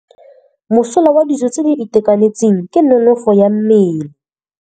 Mosola wa dijô tse di itekanetseng ke nonôfô ya mmele.